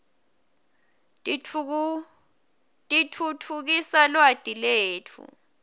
titfutfukisa lwati letfu